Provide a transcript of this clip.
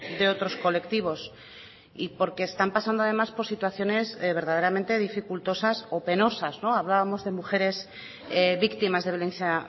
de otros colectivos porque están pasando además por situaciones de verdaderamente dificultosas o penosas hablábamos de mujeres víctimas de violencia